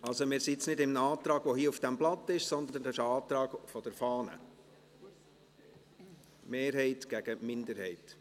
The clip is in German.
Also: Wir sind jetzt nicht bei einem Antrag, der hier auf dem Blatt steht, sondern es ist ein Antrag aus der Fahne, Mehrheit gegen Minderheit.